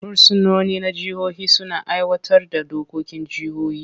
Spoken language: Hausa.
Fursunoni na jihohi suna aiwatar da dokokin jihohi.